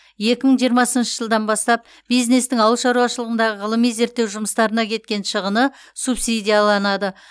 екі мың жиырмасыншы жылдан бастап бизнестің ауыл шаруашылығындағы ғылыми зерттеу жұмыстарына кеткен шығыны субсидияланады